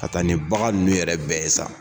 Ka taa ni bagan ninnu yɛrɛ bɛɛ ye sa.